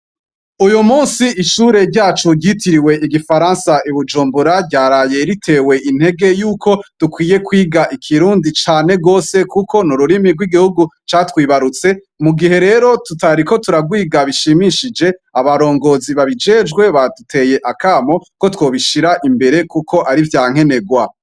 Uyu musi ishure ryacu ryitiriwe igifaransa i bujumbura ryaraye ritewe intege yuko dukwiye kwiga ikirundi cane gose kuko n'ururimi rw'igihugu catwibarutse, mu gihe rero tutariko turarwiga mu buryo bushimishije abarongozi babijejwe baduteye akamo ko twobishira imbere kuko ar'ivya nkenerwa.